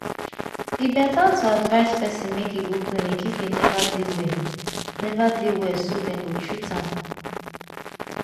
e better to advise person make im go clinic if im neva dey well neva dey well so dem go treat am